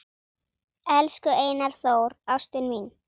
Elsku Einar Þór, ástin mín